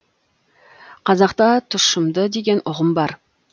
қазақта тұщымды деген ұғым бар